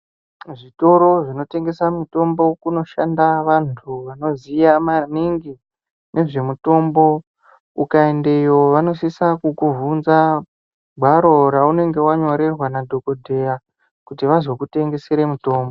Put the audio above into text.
Kuzvitoro zvinotengesa mutombo kunoshanda vantu vanoziya maningi nezvemutombo. Ukaendeyo vanosisa kukuvhunza gwaro raunenge wanyorerwa nadhokodheya kuti vazokwanisa kukutengesere mutombo.